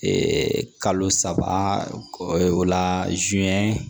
kalo saba o la